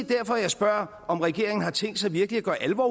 derfor at jeg spørger om regeringen har tænkt sig virkelig at gøre alvor